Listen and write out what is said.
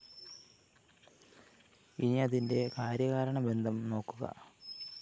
ഇനിയതിന്റെ കാര്യകാരണ ബന്ധം നോക്കുക